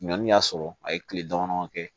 Ɲɔni y'a sɔrɔ a ye kile dama dama kɛ